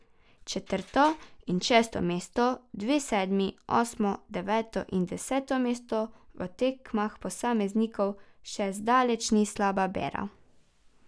Četrto in šesto mesto, dve sedmi, osmo, deveto in deseto mesto v tekmah posameznikov še zdaleč ni slaba bera.